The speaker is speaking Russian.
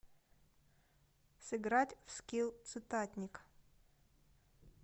сыграть в скилл цитатник